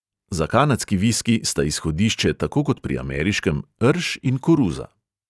Za kanadski viski sta izhodišče tako kot pri ameriškem rž in koruza.